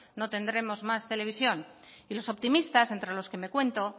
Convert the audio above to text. no tendremos más televisión y los optimistas entre los que me cuento